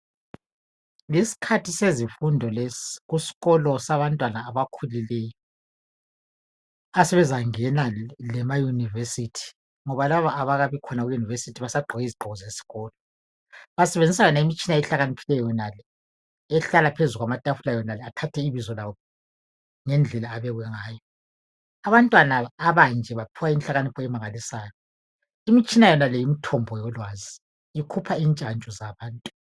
yisikhathi sezifundo lesi kusikolo sabantwana abakhulileyo asebezangena lema university ngoba laba abakabi khona ku university basagqoke izigqoko zesikolo basebenzisa lemitshina ehlakaniphileyo yonale ehlala phezu kwamatafula yonale athathe ibizo lawo ngendlela abekwe ngayo abantwana abanje baphiwa inhlakanipho emangalisayo imitshina yonale yimithombo yolwazi ikhupha intshantshu zabantu